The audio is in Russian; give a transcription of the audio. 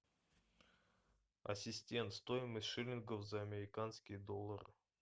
ассистент стоимость шиллингов за американские доллары